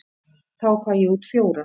Þá fæ ég út fjóra.